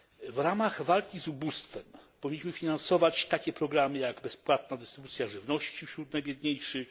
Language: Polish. W ramach walki z ubóstwem powinniśmy finansować takie programy jak bezpłatna dystrybucja żywności wśród najbiedniejszych.